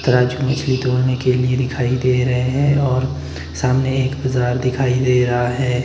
के लिए दिखाई दे रहे है और सामने एक बजार दिखाई दे रहा है।